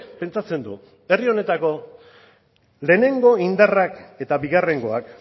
pentsatzen du herri honetako lehenengo indarrak eta bigarrengoak